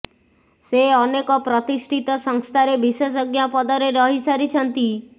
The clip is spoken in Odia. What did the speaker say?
ସେ ଅନେକ ପ୍ରତିଷ୍ଠିତ ସଂସ୍ଥାରେ ବିଶେଷଜ୍ଞ ପଦରେ ରହି ସାରିଛନ୍ତି